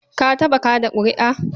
Ka taɓa kaɗa ƙuri'a?